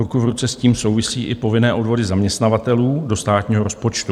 Ruku v ruce s tím souvisí i povinné odvody zaměstnavatelů do státního rozpočtu